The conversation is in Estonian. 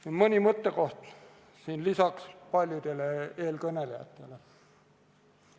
Esitan paljude eelkõnelejate öeldule lisaks veel mõne mõttekoha.